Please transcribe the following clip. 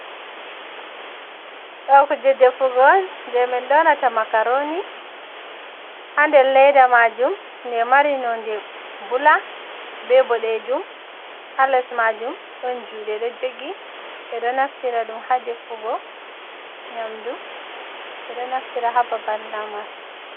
Ɗoo kuujee deffugo on, jee min dollata makaroni ha nder leeda maajuum, de mari nonde buulak, be boɗeejuum, haales maajuum, ɗon juuɗee ɗo joogi. Ɓeɗoo naftira ɗum ha defugo nyamdu, ɓeɗɗoo naftira hababal Lamar.